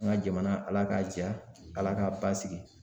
An ka jamana Ala ka ja, Ala ka basigi.